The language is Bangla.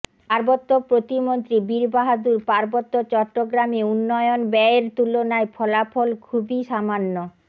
পার্বত্য প্রতিমন্ত্রী বীর বাহাদুর পার্বত্য চট্টগ্রামে উন্নয়ন ব্যয়ের তুলনায় ফলাফল খুবই সামান্য